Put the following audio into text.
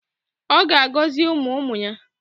Ọ ga-agọzi ụmụ ụmụ ya.